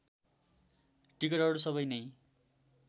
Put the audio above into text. टिकटहरू सबै नै